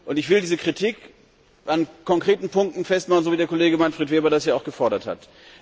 Ich will diese Kritik an konkreten Punkten festmachen, so wie der Kollege Manfred Weber das hier auch gefordert hat.